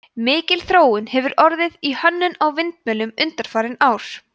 mikil þróun hefur orðið í hönnun á vindmyllum undanfarin ár